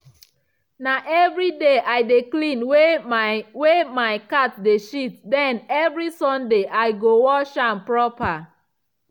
na evriday i dey clean wey my wey my cat de shit den evri sunday i go wash am proper.